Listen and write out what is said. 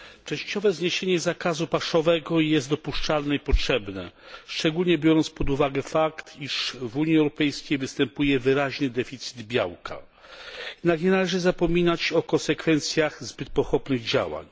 Pani Przewodnicząca! Częściowe zniesienie zakazu paszowego jest dopuszczalne i potrzebne, szczególnie biorąc pod uwagę fakt, iż w Unii Europejskiej występuje wyraźny deficyt białka. Nie należy zapominać o konsekwencjach zbyt pochopnych działań.